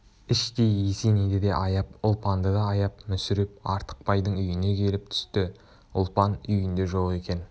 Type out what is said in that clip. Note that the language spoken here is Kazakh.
іштей есенейді де аяп ұлпанды да аяп мүсіреп артықбайдың үйіне келіп түсті ұлпан үйінде жоқ екен